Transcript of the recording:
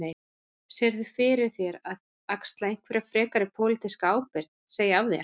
Sérðu fyrir þér að axla einhverja frekari pólitíska ábyrgð, segja af þér?